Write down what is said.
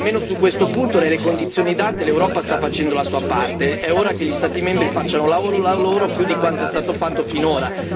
Almeno su questo punto, nelle condizioni date, l'Europa sta facendo la sua parte ed è ora che gli Stati membri facciano la loro più di quanto è stato fatto finora.